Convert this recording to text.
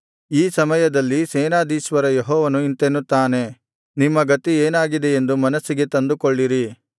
ಈ ಸಮಯದಲ್ಲಿ ಸೇನಾಧೀಶ್ವರ ಯೆಹೋವನು ಇಂತೆನ್ನುತ್ತಾನೆ ನಿಮ್ಮ ಗತಿ ಏನಾಗಿದೆಯೆಂದು ಮನಸ್ಸಿಗೆ ತಂದುಕೊಳ್ಳಿರಿ